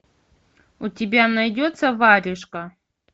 у тебя найдется варежка